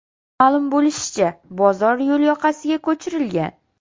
Ma’lum bo‘lishicha, bozor yo‘l yoqasiga ko‘chirilgan.